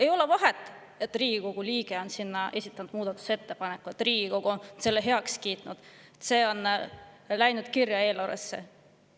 Ei ole vahet, kas Riigikogu liige on esitanud muudatusettepaneku, Riigikogu on selle heaks kiitnud ja see on läinud eelarvesse kirja.